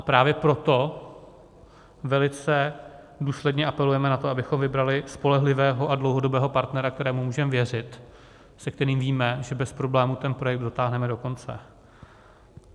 A právě proto velice důsledně apelujeme na to, abychom vybrali spolehlivého a dlouhodobého partnera, kterému můžeme věřit, se kterým víme, že bez problémů ten projekt dotáhneme do konce.